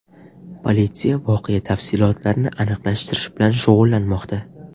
Politsiya voqea tafsilotlarini aniqlashtirish bilan shug‘ullanmoqda.